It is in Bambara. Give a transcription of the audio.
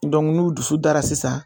n'u dusu dara sisan